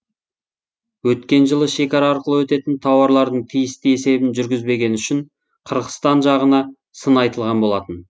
өткен жылы шекара арқылы өтетін тауарлардың тиісті есебін жүргізбегені үшін қырғызстан жағына сын айтылған болатын